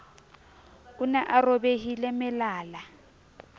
o ne a robile melala